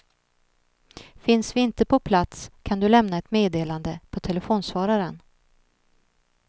Finns vi inte på plats kan du lämna ett meddelande på telefonsvararen.